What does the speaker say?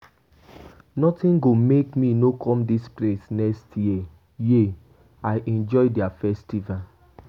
Nothing go make me no come dis place next year.[um] I enjoy their festival.